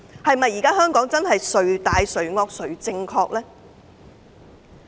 是否真的是"誰大誰惡誰正確"呢？